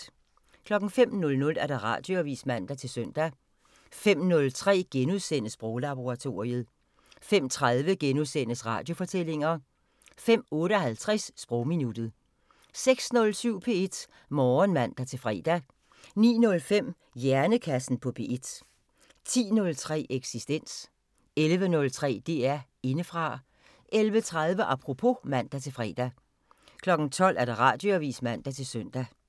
05:00: Radioavisen (man-søn) 05:03: Sproglaboratoriet * 05:30: Radiofortællinger * 05:58: Sprogminuttet 06:07: P1 Morgen (man-fre) 09:05: Hjernekassen på P1 10:03: Eksistens 11:03: DR Indefra 11:30: Apropos (man-fre) 12:00: Radioavisen (man-søn)